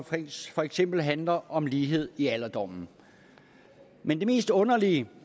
for eksempel handler om lighed i alderdommen men det mest underlige